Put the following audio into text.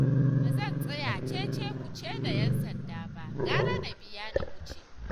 Ba zan tsaya ce-ce-ku-ce da 'yansanda ba, gara na biya na wuce